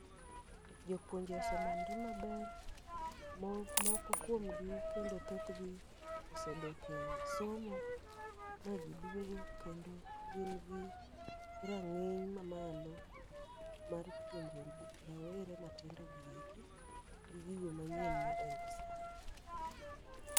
Jopuonje ose manre maber, mo moko kuomgi kendo thoth gi osedoke somo ma giduogo. Kendo gin gi rang'iny ma malo mar puonjo jo rawere matiendo gieki gi gigo manyien modonjo sani.